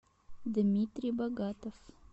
дмитрий богатов